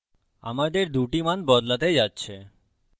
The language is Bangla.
আমাদের ২ টি মান বদলাতে যাচ্ছে